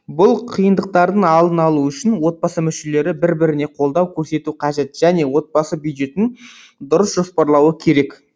бұл қиындықтардың алдын алу үшін отбасы мүшелері бір біріне қолдау көрсетуі қажет және отбасы бюджетін дұрыс жоспарлауы керек